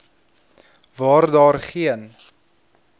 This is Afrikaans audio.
waar daar geen